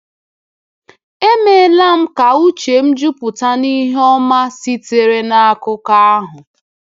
Emeela m ka uche m juputa n’ihe ọma sitere n’akụkọ ahụ.